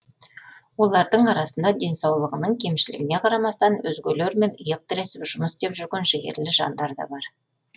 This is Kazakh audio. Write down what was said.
олардың арасында денсаулығының кемшілігіне қарамастан өзгелермен иық тіресіп жұмыс істеп жүрген жігерлі жандар да бар